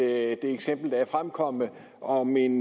eksempel der er fremkommet om en